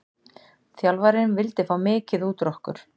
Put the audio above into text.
Þjálfarinn vildi fá mikið út úr okkur.